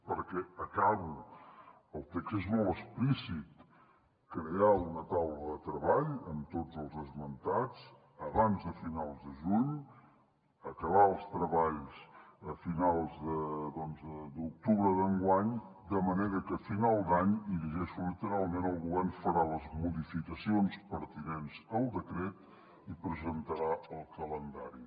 perquè acabo el text és molt explícit crear una taula de treball amb tots els esmentats abans de finals de juny acabar els treballs a finals d’octubre d’enguany de manera que a final d’any i llegeixo literalment el govern farà les modificacions pertinents al decret i presentarà el calendari